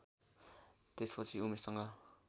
त्यसपछि उमेशसँग